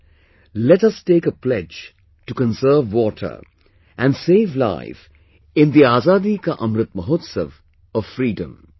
Come, let us take a pledge to conserve water and save life in the Azadi Ka Amrit Mahotsav of freedom